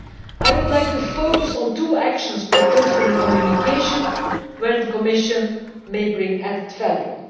I would like to focus on two actions proposed in the communication where the Commission may bring added value.